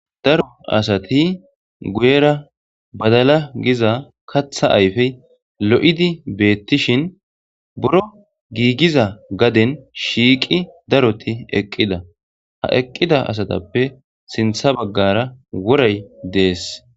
daro asati guyera badala giza katha ayfey lo7idi beettishin buro giigiza gaden shiiqi daroti eqqida ha eqqida asatappe sintha baggara woray dees